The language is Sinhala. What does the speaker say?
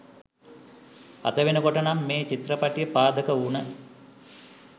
අද වෙනකොට නම් මේ චිත්‍රපටිය පාදක වුන